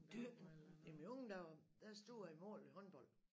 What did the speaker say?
Dyrk jamen i unge dage der stod jeg i mål i håndbold